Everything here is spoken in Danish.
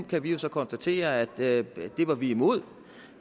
kan vi jo så konstatere at det var vi imod